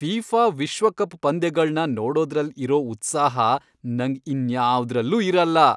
FIFA ವಿಶ್ವಕಪ್ ಪಂದ್ಯಗಳ್ನ ನೋಡೋದ್ರಲ್ ಇರೋ ಉತ್ಸಾಹ ನಂಗ್ ಇನ್ಯಾವ್ದ್ರಲ್ಲೂ ಇರಲ್ಲ.